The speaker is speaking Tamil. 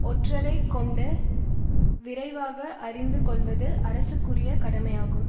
ஒற்றரை கொண்டு விரைவாக அறிந்து கொள்வது அரசுக்குரிய கடமையாகும்